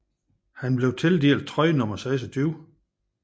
Han blev tildelt trøje nummer 26